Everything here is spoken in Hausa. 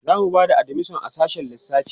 zamu Bata admission a sassshen lissafi